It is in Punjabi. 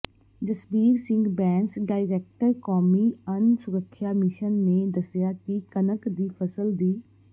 ਜਸਬੀਰ ਸਿੰਘ ਬੈਂਸ ਡਾਇਰੈਕਟਰ ਕੌਮੀ ਅੰਨ ਸੁਰੱਖਿਆ ਮਿਸ਼ਨ ਨੇ ਦੱਸਿਆ ਕਿ ਕਣਕ ਦੀ ਫਸਲ ਦੀ